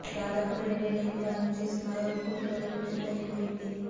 దాదాపు రెండెళ్ళయ్యింది వారిని చూసి మరోవైపు పిల్లలకు టెన్త్ అయిపోయింది